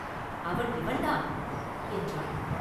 அவன் இவன்தான்!” என்றான்.